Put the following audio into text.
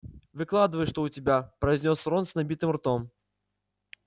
выкладывай что у тебя произнёс рон с набитым ртом